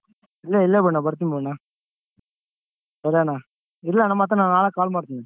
ಇಲ್ಲ ಇಲ್ಲ ಬುಡ್ನ ಬರ್ತಿನ್ ಬುಡ್ನ. ಸರಿ ಅಣ್ಣಾ ಇಡ್ಲ ಅಣ್ಣ ಮತ್ತೆ ನಾನ್ ನಾಳೆ call ಮಾಡ್ತೀನಿ.